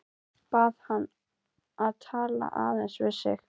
Bað hann að tala aðeins við sig.